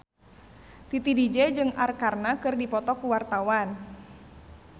Titi DJ jeung Arkarna keur dipoto ku wartawan